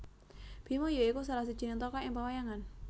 Bima ya iku salah sijining tokoh ing pawayangan